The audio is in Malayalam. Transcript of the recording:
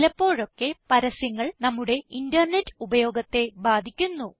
ചിലപ്പോഴൊക്കെ പരസ്യങ്ങൾ നമ്മുടെ ഇന്റർനെറ്റ് ഉപയോഗത്തെ ബാധിക്കുന്നു